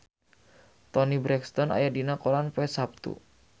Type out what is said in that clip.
Toni Brexton aya dina koran poe Saptu